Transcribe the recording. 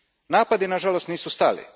Napadi, nažalost, nisu stali.